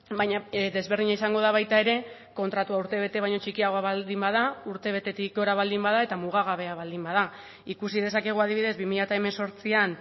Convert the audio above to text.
baina desberdina izango da baita ere kontratua urte bete baino txikiagoa baldin bada urte betetik gora baldin bada eta muga gabea baldin bada ikusi dezakegu adibidez bi mila hemezortzian